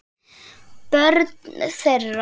Börn þeirra